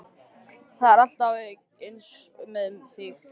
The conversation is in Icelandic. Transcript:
Það er alltaf eins með þig!